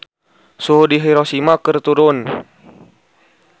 Suhu di Hiroshima keur turun